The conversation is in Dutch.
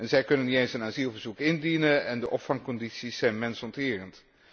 Zij kunnen niet eens een asielverzoek indienen en de opvangcondities zijn mensonterend.